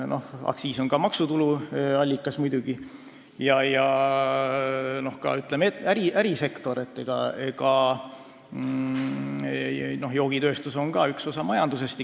Muidugi, aktsiis on ka maksutulu allikas ja joogitööstus üks osa majandusest.